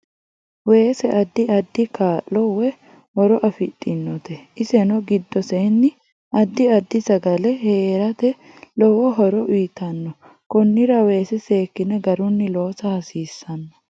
Weese addi addi kaa'lo woy horo afidhinote iseno giddosenni addi addi sagale heerate lowo horo uyiitanno konira weese seekine garunni lossa hasiisanno